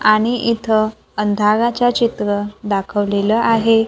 आणि इथं अंधाराचं चित्र दाखवलेलं आहे.